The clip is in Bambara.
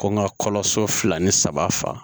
Ko n ka kɔɲɔso fila ni saba fa